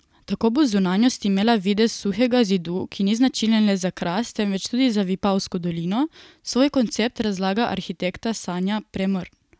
Tako bo zunanjost imela videz suhega zidu, ki ni značilen le za Kras, temveč tudi za Vipavsko dolino, svoj koncept razlaga arhitekta Sanja Premrn.